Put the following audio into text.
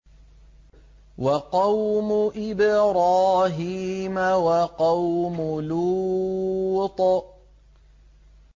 وَقَوْمُ إِبْرَاهِيمَ وَقَوْمُ لُوطٍ